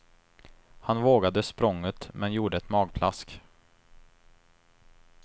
Han vågade språnget men gjorde ett magplask.